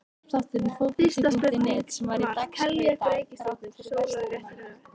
Fyrsta spurning var: Teljið upp reikistjörnur sólar í réttri röð.